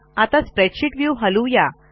आता spreadsheet view हलवू या